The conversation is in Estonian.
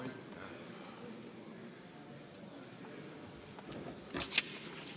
Aitäh!